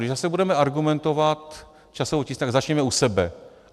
Když zase budeme argumentovat časovou tísní, tak začněme u sebe.